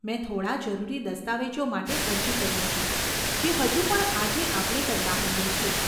મેં થોડાં જરૂરી દસ્તાવેજો માટે અરજી કરી હતી, જે હજુ પણ આજે આપણે કરતા હોઈએ છીએ.